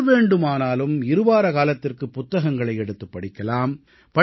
யார் வேண்டுமானாலும் இருவாரக் காலத்திற்கு புத்தகங்களை எடுத்துப் படிக்கலாம்